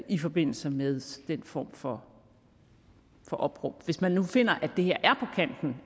i forbindelse med den form for opråb hvis man nu finder at det her